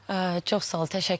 Çox sağ olun, təşəkkür eləyirəm.